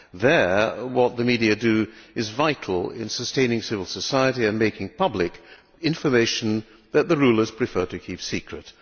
There, what the media do is vital in sustaining civil society and making public information that the rulers prefer to keep secret.